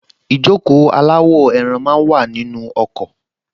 Ìjókòó aláwọ̀-ẹran máa wà nínú ọkọ̀